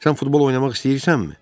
Sən futbol oynamaq istəyirsənmi?